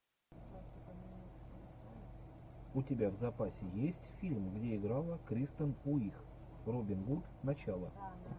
у тебя в запасе есть фильм где играла кристен уиг робин гуд начало